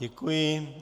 Děkuji.